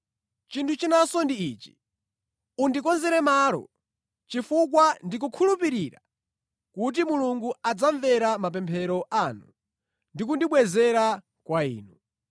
Chinthu chinanso ndi ichi: undikonzere malo, chifukwa ndikukhulupirira kuti Mulungu adzamvera mapemphero anu ndi kundibwezera kwa inu.